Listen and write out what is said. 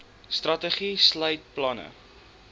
strategie sluit planne